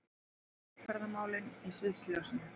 Velferðarmálin í sviðsljósinu